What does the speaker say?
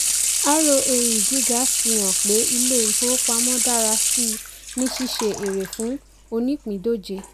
roae gíga fi hàn pé ilé-ìfowópamọ́ dára síi ní ṣíṣe ère fún onípindòje.